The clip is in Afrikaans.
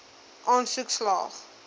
aansoek slaag